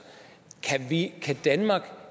kan danmark